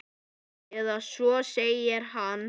Eða svo segir hann.